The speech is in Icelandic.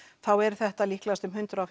þá eru þetta líklegast um hundrað og